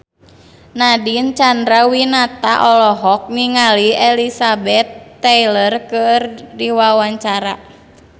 Nadine Chandrawinata olohok ningali Elizabeth Taylor keur diwawancara